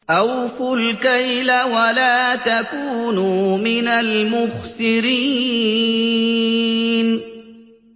۞ أَوْفُوا الْكَيْلَ وَلَا تَكُونُوا مِنَ الْمُخْسِرِينَ